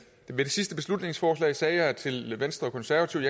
ved det sidste beslutningsforslag sagde jeg til venstre og konservative